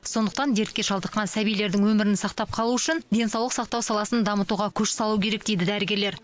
сондықтан дертке шалдыққан сәбилердің өмірін сақтап қалу үшін денсаулық сақтау саласын дамытуға күш салу керек дейді дәрігерлер